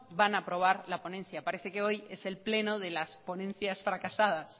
van a aprobar la ponencia parece que hoy es el pleno las ponencias fracasadas